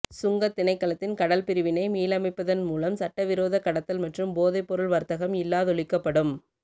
சுங்கத் திணைக்களத்தின் கடல் பிரிவினை மீளமைப்பதன் மூலம் சட்டவிரோத கடத்தல் மற்றும் போதைப் பொருள் வர்த்தகம் இல்லாதொழிக்கப்படும்